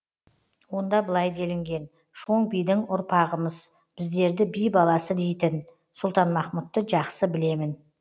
онда былай делінген шоң бидің ұрпағымыз біздерді би баласы дейтін сұлтанмахмұтты жақсы білемін